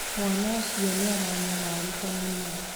Mwana ũcio nĩ aranyamararĩka mũno